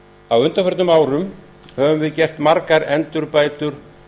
á undanförnum árum höfum við gert margar endurbætur